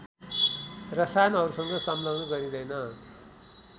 रसायनहरूसँग संलग्न गरिँदैन